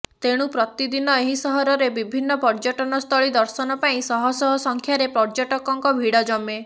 ତେଣୁ ପ୍ରତିଦିନ ଏହି ସହରରେ ବିଭିନ୍ନ ପର୍ଯ୍ୟଟନସ୍ଥଳୀ ଦର୍ଶନ ପାଇଁ ଶହଶହ ସଂଖ୍ୟାରେ ପର୍ଯ୍ୟଟକଙ୍କ ଭିଡ଼ ଜମେ